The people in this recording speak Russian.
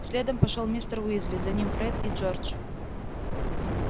следом пошёл мистер уизли за ним фред и джордж